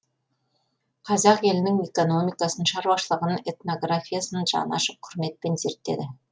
қазақ елінің экономикасын шаруашылығын этнографиясын жаны ашып құрметпен зерттеді